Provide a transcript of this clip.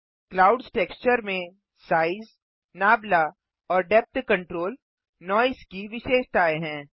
clouds texture में size नाबला और डेप्थ कंट्रोल नॉइज़ की विशेषताएँ हैं